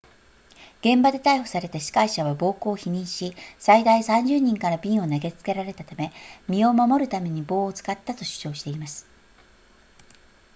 現場で逮捕された司会者は暴行を否認し最大30人から瓶を投げつけられたため身を守るために棒を使ったと主張しています